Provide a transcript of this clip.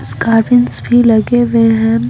इसकारवन्स भी लगे हुए हैं ।